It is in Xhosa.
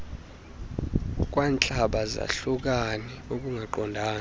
kwantlaba zahlukane ukungaqondani